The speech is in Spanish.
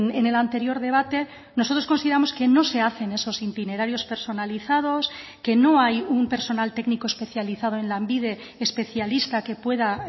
en el anterior debate nosotros consideramos que no se hacen esos itinerarios personalizados que no hay un personal técnico especializado en lanbide especialista que pueda